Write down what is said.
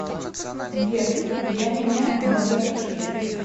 сбер я меня ноги от ушей